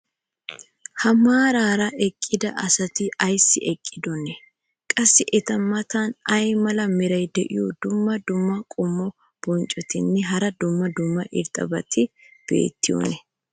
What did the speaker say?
ha maaraara eqqida asati ayssi eqqidonaa? qassi eta matan ay mala meray diyo dumma dumma qommo bonccotinne hara dumma dumma irxxabati beettiyoonaa?